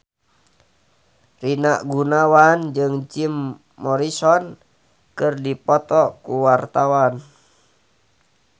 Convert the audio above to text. Rina Gunawan jeung Jim Morrison keur dipoto ku wartawan